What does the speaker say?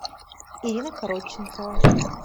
ирина коротченкова